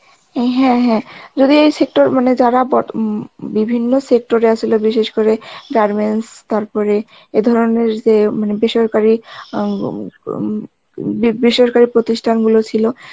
N হ্যাঁ হ্যাঁ, যদি এই sector মানে যারা বো~ বিভিন্ন sector এ আ ছিল বিশেষ করে garments তার পরে এ ধরনের যে উম বেসরকারি আম উম উম উম বি~ বেসরকারী প্রতিষ্ঠান গুলো ছিল